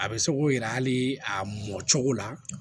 A bɛ se k'o yira hali a mɔ cogo la